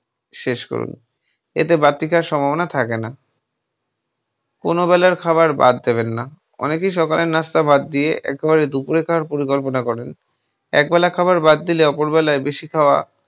শেষ করুন। এতে বাড়তি খাওয়ার সম্ভাবনা থাকেনা। কোনো বেলার খাবার বাদ দেবেন না। অনেকেই সকালের নাস্তা বাদ দিয়ে একেবারে দুপুরে খাওয়ার পরিকল্পনা করেন। একবেলা খাবার বাদ দিলে অপর বেলায় বেশি খাওয়া